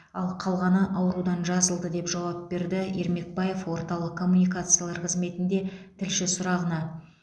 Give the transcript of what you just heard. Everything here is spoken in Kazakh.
ал қалғаны аурудан жазылды деп жауап берді ермекбаев орталық коммуникациялар қызметінде тілші сұрағына